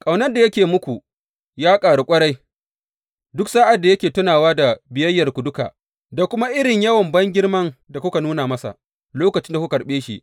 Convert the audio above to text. Ƙaunar da yake yi muku ya ƙaru ƙwarai, duk sa’ad da yake tunawa da biyayyarku duka, da kuma irin yawan bangirman da kuka nuna masa lokacin da kuka karɓe shi.